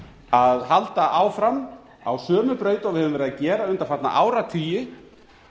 að halda áfram á sömu braut og við höfum verið að gera undanfarna áratugi